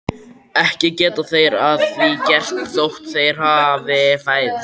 Ekki geta þeir að því gert þótt þeir hafi fæðst.